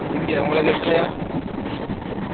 எங்க உங்கலுக்கு வைகலயா?